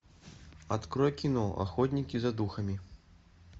открой кино охотники за духами